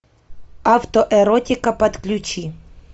автоэротика подключи